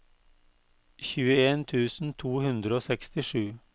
tjueen tusen to hundre og sekstisju